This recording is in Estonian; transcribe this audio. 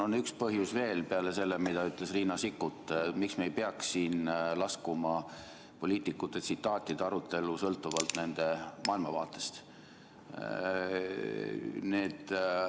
On üks põhjus veel peale selle, mida ütles Riina Sikkut, miks me ei peaks laskuma poliitikute tsitaatide arutellu sõltuvalt nende maailmavaatest.